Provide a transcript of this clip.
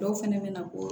Dɔw fɛnɛ bɛ na bɔ